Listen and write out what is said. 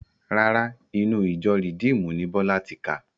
Rárá, inú ìjọ rìdíímùnù ni Bọ́lá ti kà